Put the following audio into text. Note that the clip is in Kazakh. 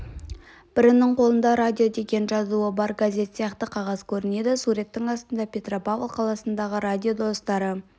бірінің қолында радио деген жазуы бар газет сияқты қағаз көрінеді суреттің астында петропавл қаласындағы радио достары